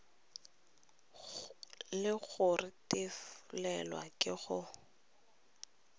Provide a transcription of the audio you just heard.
le go retelelwa ke go